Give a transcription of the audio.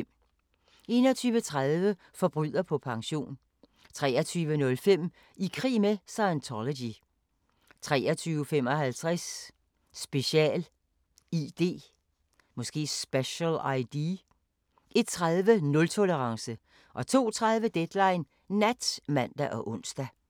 21:30: Forbryder på pension 23:05: I krig med Scientology 23:55: Special ID 01:30: Nultolerance 02:30: Deadline Nat (man og ons)